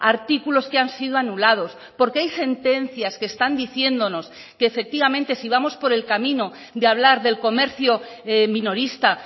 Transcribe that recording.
artículos que han sido anulados porque hay sentencias que están diciéndonos que efectivamente si vamos por el camino de hablar del comercio minorista